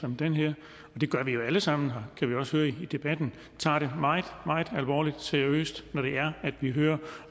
som den her det gør vi jo alle sammen og det kan vi også høre i debatten tager det meget meget alvorligt og seriøst når det er at vi hører